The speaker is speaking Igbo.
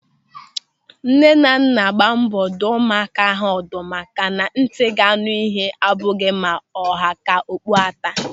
Nnenanna gbaa mbọ dụọ ụmụaka ha ọdụ maka na ntị ga-anụ ịhe abụghị ma ọ ha ka okpu ata.